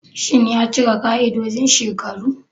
Shin ya cika ƙa'idojin shekaru?